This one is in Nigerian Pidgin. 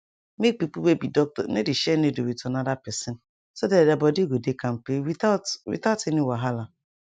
make people wey be doctor no dey share needle with another person so that their body go dey kampe without without any wahala